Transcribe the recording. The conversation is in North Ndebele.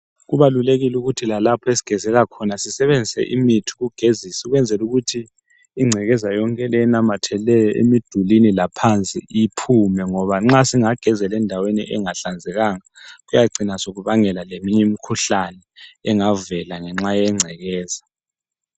Kubalulekile ukuthi lalapho esigezela khona sisebenzise imithi yokugezisa ukwenzela ukuthi ingcekeza yonke le enamathele emidulini laphansi iphume ngoba nxa singagezela endaweni engahlanzekanga kuyacina sokubangela eminye imikhuhlane engavela ngenxa yengcekeza.